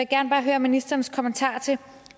gerne bare høre ministerens kommentar til